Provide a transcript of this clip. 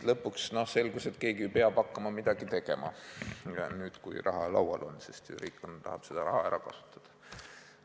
Lõpuks selgus, et keegi peab ikkagi hakkama midagi tegema, sest raha on ju laual ja riik tahab seda raha ära kasutada.